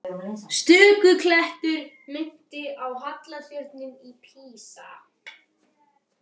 Stöku klettur minnti á halla turninn í Písa.